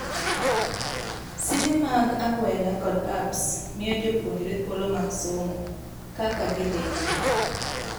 Simbe mag agwela kod apps miyo jopuonjre thuolo mag somo kaka gidhi nyime.